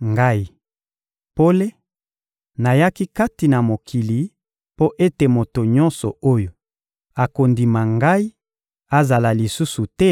Ngai, pole, nayaki kati na mokili mpo ete moto nyonso oyo akondima Ngai azala lisusu te